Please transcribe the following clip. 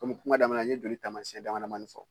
Kɔmi kuma daminɛ na n ye joli taamayɛn damadɔ fɔ